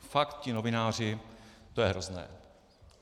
Fakt, ti novináři, to je hrozné.